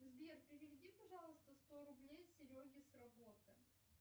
сбер переведи пожалуйста сто рублей сереге с работы